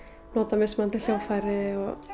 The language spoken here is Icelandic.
nota mismunandi hljóðfæri